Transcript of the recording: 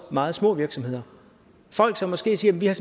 meget små virksomheder folk som måske siger vi har